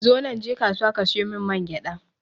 Zonan je kasuwa ka siyo mun mangyaɗa